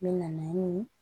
N bɛ na ni